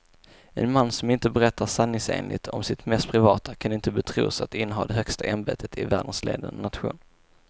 En man som inte berättar sanningsenligt om sitt mest privata kan inte betros att inneha det högsta ämbetet i världens ledande nation.